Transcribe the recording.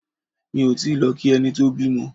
Mi ò tíì lọ kí ẹni tó bímọ.